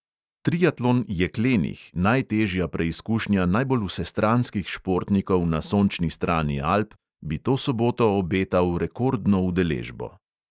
Triatlon jeklenih, najtežja preizkušnja najbolj vsestranskih športnikov na sončni strani alp, bi to soboto obetal rekordno udeležbo.